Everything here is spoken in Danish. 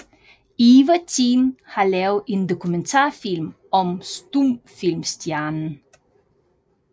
Eva Tind har lavet en dokumentarfilm om stumfilmstjernen